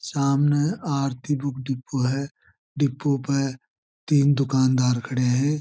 सामने Aarti book depot है depot पर तीन दुकानदार खड़े है।